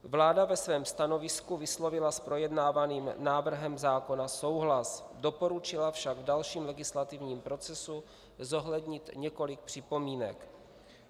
Vláda ve svém stanovisku vyslovila s projednávaným návrhem zákona souhlas, doporučila však v dalším legislativním procesu zohlednit několik připomínek.